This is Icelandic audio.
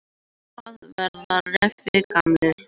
Hvað verða refir gamlir?